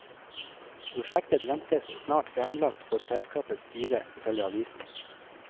Prosjektet ventes snart fremlagt for selskapets styre, ifølge avisen.